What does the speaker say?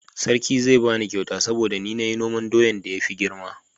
sarki zai bani kyauta saboda ni na yi noman doyan da ya fi girma